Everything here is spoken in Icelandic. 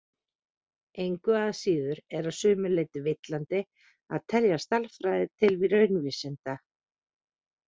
Engu að síður er að sumu leyti villandi að telja stærðfræði til raunvísinda.